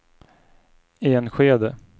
Enskede